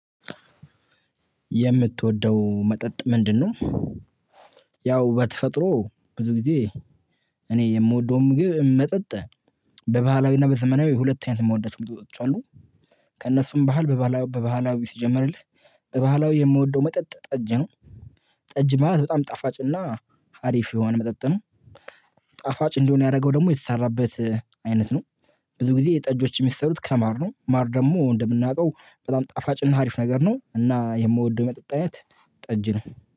የምትወደው መጠጥ ምንድነው? ያው በተፈጥሮ ብዙ ጊዜ እኔ የምወደውን ምግብ መጠጥ በባህላዊና በዘመናዊ ሁለት አይነት የምወዳቸው መጠጦች አሉ። ከእነሱም ባህል በባህላዊ ሲጀምርልህ በባህላዊ የምወደው መጠጥ ጠጅ ነው። ጠጅ ማለት በጣም ጣፋጭ እና ሀሪፍ የሆነ መጠጥ ነው። ጣፋጭ እንደሆነ ያደረገው ደግሞ የተሰራበት አይነት ነው። ብዙ ጊዜ የጠጆች የሚሰሩት ከማር ነው ማር ደግሞ እንደምናውቀው በጣም ጣፋጭና አሪፍ ነገር ነው። እና የምወደው የመጠጥ አይነት ጠጅ ነው።